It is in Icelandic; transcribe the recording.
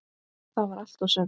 Það var allt og sumt!